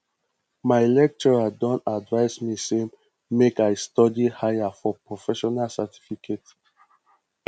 my lecturer don advice me say make i study higher for professional certificate